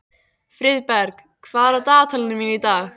Friðberg, hvað er á dagatalinu mínu í dag?